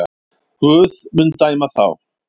Guð mun dæma þá.